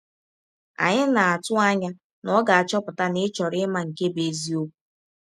Anyị na - atụ anya na ọ ga - achọpụta na ị chọrọ ịma nke bụ́ eziọkwụ!